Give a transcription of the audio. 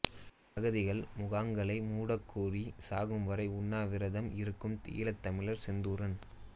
அகதிகள் முகாம்களை மூடக்கோரி சாகும்வரை உண்ணாவிரதம் இருக்கும் ஈழத் தமிழர் செந்தூரன்